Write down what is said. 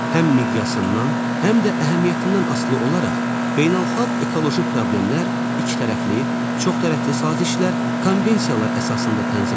Həm miqyasından, həm də əhəmiyyətindən asılı olaraq beynəlxalq ekoloji problemlər ikitərəfli, çoxtərəfli sazişlər, konvensiyalar əsasında tənzimlənir.